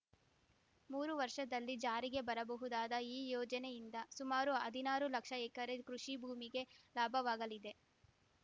ಮೂರು ವರ್ಷದಲ್ಲಿ ಜಾರಿಗೆ ಬರಬಹುದಾದ ಈ ಯೋಜನೆಯಿಂದ ಸುಮಾರು ಹದಿನಾರು ಲಕ್ಷ ಎಕರೆ ಕೃಷಿ ಭೂಮಿಗೆ ಲಾಭವಾಗಲಿದೆ